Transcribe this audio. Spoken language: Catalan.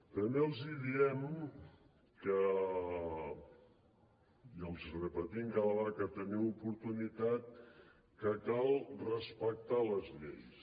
també els diem i els ho repetim cada vegada que en tenim oportunitat que cal respectar les lleis